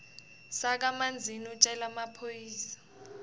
sakamanzini utjele emaphoyisa